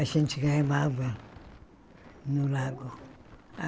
A gente no lago.